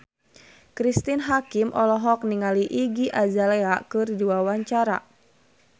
Cristine Hakim olohok ningali Iggy Azalea keur diwawancara